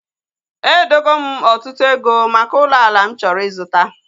Edogo m ọtụtụ ego maka ụlọ ala m chọrọ ịzụta